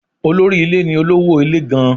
Olórí ilé ni olówó ilé gan-an.